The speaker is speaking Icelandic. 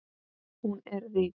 Hún er rík.